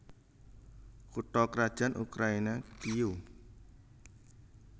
Kutha krajan Ukraina Kiyéw